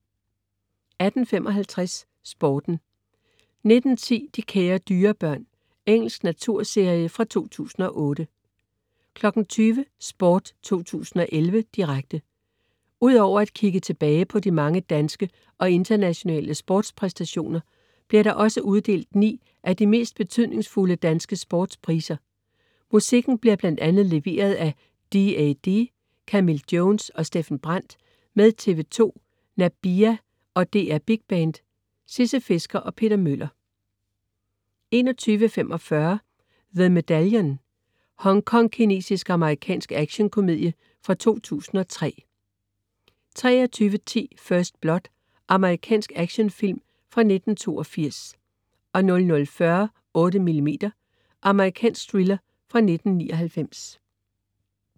18.55 Sporten 19.10 De kære dyrebørn. Engelsk naturserie fra 2008 20.00 Sport 2011, direkte. Udover at kigge tilbage på de mange danske og internationale sportspræstationer, bliver der også uddelt ni af de mest betydningsfulde danske sportspriser. Musikken bliver bl.a. leveret af DAD, Camille Jones og Steffen Brandt med TV 2, Nabiha og DR Big Band. Sisse Fisker og Peter Møller 21.45 The Medallion. Hongkongkinesisk-amerikansk actionkomedie fra 2003 23.10 First Blood. Amerikansk actionfilm fra 1982 00.40 8mm. Amerikansk thriller fra 1999